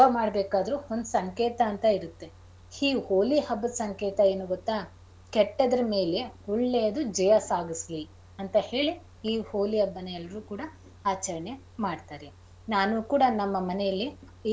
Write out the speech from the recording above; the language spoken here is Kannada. ಮಾಡ್ಬೇಕಾದ್ರೂ ಒಂದ್ ಸಂಕೇತ ಅಂತ ಇರತ್ತೆ ಈ ಹೋಳಿ ಹಬ್ಬದ್ ಸಂಕೇತ ಏನು ಗೊತ್ತ ಕೆಟ್ಟದ್ದರ ಮೇಲೆ ಒಳ್ಳೆಯದು ಜಯ ಸಾಧಿಸ್ಲಿ ಅಂತ ಹೇಳಿ ಈ ಹೋಳಿ ಹಬ್ಬನಾ ಎಲ್ರೂ ಕೂಡ ಆಚರಣೆ ಮಾಡ್ತಾರೆ. ನಾನು ಕೂಡ ನಮ್ಮ ಮನೆಯಲ್ಲಿ ಈ,